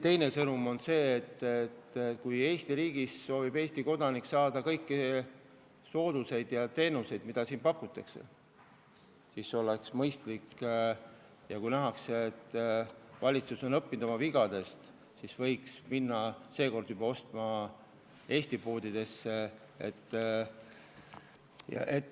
Teine sõnum on, et kui Eesti riigis soovib Eesti elanik saada kõiki teenuseid, mida siin pakutakse, ja kui nähakse, et valitsus on oma vigadest õppinud, siis võiks nüüd juba ostma minna Eesti poodidesse.